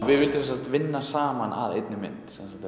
við vildum sem sagt vinna saman að einni mynd